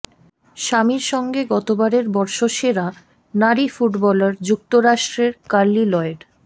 স্বামীর সঙ্গে গতবারের বর্ষসেরা নারী ফুটবলার যুক্তরাষ্ট্রের কার্লি লয়েড